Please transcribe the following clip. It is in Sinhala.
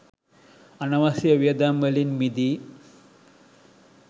අනවශ්‍ය වියදම් වලින් මිදී